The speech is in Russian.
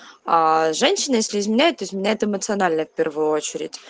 аа женщина если изменяет изменяет эмоционально в первую очередь